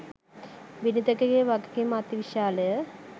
බිරිඳකගේ වගකීම අතිවිශාලය.